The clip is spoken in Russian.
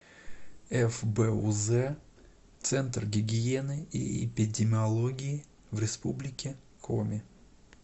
фбуз центр гигиены и эпидемиологии в республике коми